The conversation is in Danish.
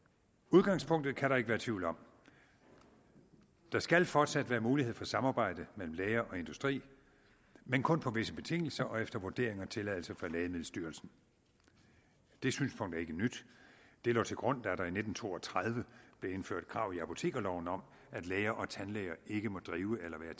udgangspunktet kan der ikke være tvivl om der skal fortsat være mulighed for samarbejde mellem læger og industri men kun på visse betingelser og efter vurdering og tilladelse fra lægemiddelstyrelsen det synspunkt er ikke nyt det lå til grund da der i nitten to og tredive blev indført krav i apotekerloven om at læger og tandlæger ikke må drive eller være